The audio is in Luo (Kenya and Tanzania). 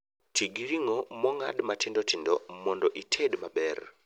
Tii gi ring'o mong'ad matindotindo mondo ited maber